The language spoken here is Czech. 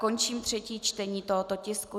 Končím třetí čtení tohoto tisku.